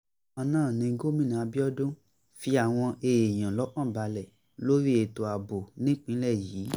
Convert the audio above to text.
bákan náà ni gómìnà abiodun fi àwọn èèyàn lọ́kàn balẹ̀ lórí ètò ààbò nípínlẹ̀ yìí